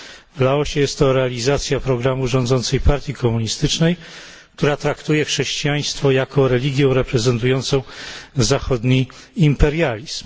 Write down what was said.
W Laosie jest to realizacja programu rządzącej partii komunistycznej, która traktuje chrześcijaństwo jako religię reprezentującą zachodni imperializm.